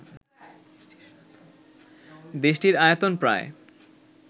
দেশটির আয়তন প্রায়